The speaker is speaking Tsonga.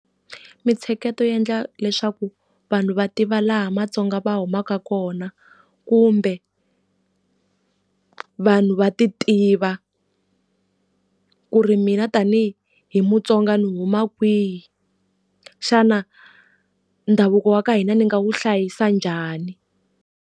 Mintsheketo yi endla leswaku vanhu va tiva laha matsonga va humaka kona kumbe, vanhu va ti tiva ku ri mina tani hi mutsonga ni huma kwihi. Xana ndhavuko wa ka hina ndzi nga wu hlayisa njhani?